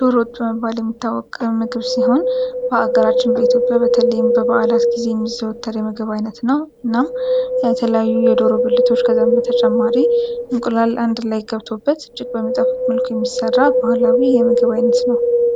ዶሮ ወጥ በመባል የሚታወቀ ምግብ ሲሆን በአገራችን በኢትዮጵያ በተለይም በባዓላት ጊዜ የሚዘወተር የምግብ አይነት ነው። እናም የተለያዩ የዶሮ ብልቶች ከዛም በተጨማሪ እንቁላል አንድ ላይ ገብቶበት እጅግ በሚጣፍጥ ምልኮ የሚሰራ ባህላዊ የምግብ አይነት ነው።